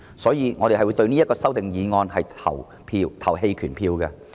所以，我們會就此項修訂議案投棄權票。